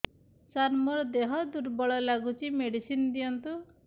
ସାର ମୋର ଦେହ ଦୁର୍ବଳ ଲାଗୁଚି ମେଡିସିନ ଦିଅନ୍ତୁ